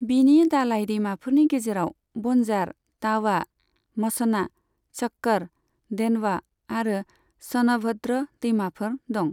बिनि दालाइ दैमाफोरनि गेजेराव बन्जार, तावा, मछना, शक्कर, देनवा आरो स'नभद्र दैमाफोर दं।